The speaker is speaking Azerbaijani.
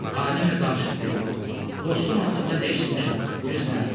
Alimlə danışıb dedi: "Dostun haqqında nə eşitmişəm, bilirsən?"